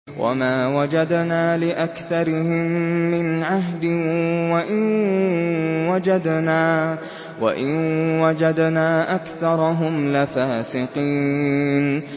وَمَا وَجَدْنَا لِأَكْثَرِهِم مِّنْ عَهْدٍ ۖ وَإِن وَجَدْنَا أَكْثَرَهُمْ لَفَاسِقِينَ